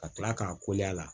Ka tila k'a a la